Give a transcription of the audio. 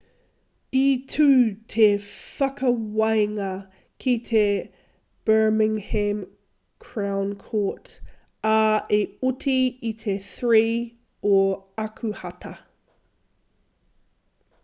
i tū te whakawānga ki te birmingham crown court ā i oti i te 3 o ākuhata